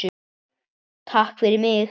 Takk fyrir mig!